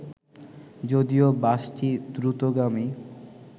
যদিও বাসটি দ্রুতগামী